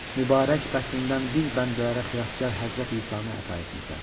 Mübarək bətnindən biz bəndələrə xilaskar Həzrəti İsanı əta etmisən.